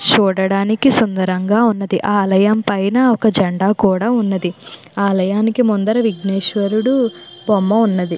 చూడడానికి సుందరంగా ఉన్నది ఆ ఆలయం పైన ఒక జెండా కూడా ఉన్నది . ఆలయానికి ముందర విఘ్నేశ్వరుడి బొమ్మ కూడా ఉన్నట్టుంది.